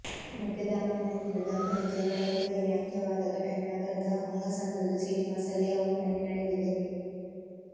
ಮದ್ಯದ ಅಮಲಿನಲ್ಲಿದ್ದ ದಂಪತಿ ಜಗಳ ಕೊಲೆಯಲ್ಲಿ ಅಂತ್ಯವಾದ ಘಟನೆ ನಗರದ ಹೊಂಗಸಂದ್ರದ ಶ್ರೀನಿವಾಸ ಲೇಔಟ್ನಲ್ಲಿ ನಡೆದಿದೆ